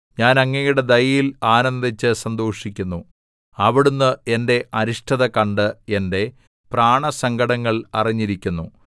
ഞാൻ അങ്ങയുടെ ദയയിൽ ആനന്ദിച്ച് സന്തോഷിക്കുന്നു അവിടുന്ന് എന്റെ അരിഷ്ടത കണ്ട് എന്റെ പ്രാണസങ്കടങ്ങൾ അറിഞ്ഞിരിക്കുന്നു